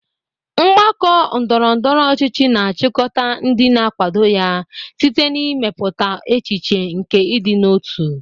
Mgbakọ ndọrọ ndọrọ ọchịchị na-achịkọta ndị na-akwado ya site n'ịmepụta echiche nke ịdị n'otu.